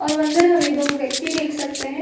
और अंदर हमें दो व्यक्ति देख सकते है।